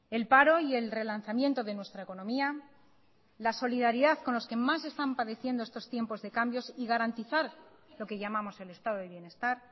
el paro y el relanzamiento de nuestra economía la solidaridad con los que más están padeciendo estos tiempos de cambios y garantizar lo que llamamos el estado de bienestar